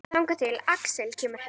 Þangað til Axel kemur heim.